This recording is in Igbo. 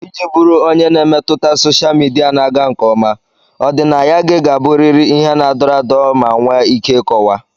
Iji bụrụ onye na-emetụta sosha midia na-aga nke ọma, ọdịnaya gị ga-abụrịrị ihe na-adọrọ adọrọ ma nwee ike ịkọwa.